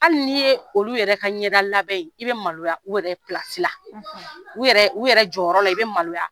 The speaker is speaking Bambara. Hali n'i ye olu yɛrɛ ka ɲɛdalabɛn ye i bɛ maloya u yɛrɛ u yɛrɛ jɔyɔrɔ la i bɛ maloya